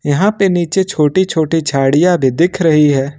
यहां पे नीचे छोटी छोटी झाड़ियां भी दिख रही है।